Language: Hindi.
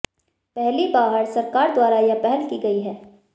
पहली बाहर सरकार द्वारा यह पहल की गई है